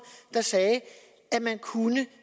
der siger at man kunne